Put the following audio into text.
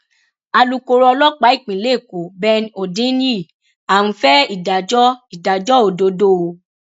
alūkkóró ọlọpàá ìpínlẹ èkó ben hondnyin à ń fẹ ìdájọ ìdájọ òdodo o